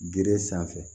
Gere sanfɛ